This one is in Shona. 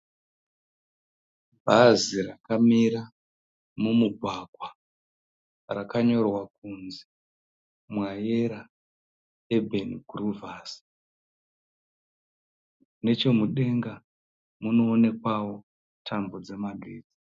Bhazi rakamira mumugwagwa, rakanyorwa kunzi Mwayera ebheni guruvhasi. Nechemudenga munoonekwayo tambo dzemagetsi.